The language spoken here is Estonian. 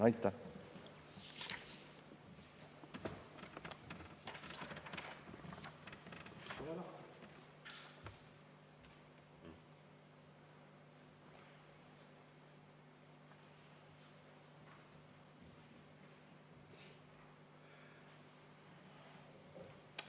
Aitäh!